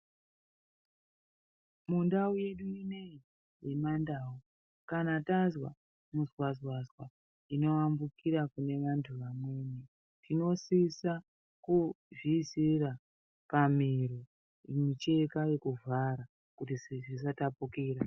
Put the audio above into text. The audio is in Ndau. Mundau yedu inoyi yemandau kana tanzwa muzanzwazanzwa inoyambukira kune vantu vamweni tinosisa kuzviisira pamiro mucheka yekuvhara kuti zvisatapukira.